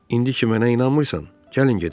İndi ki mənə inanmırsan, gəlin gedək.